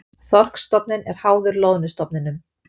Þorskstofninn er háður loðnustofninum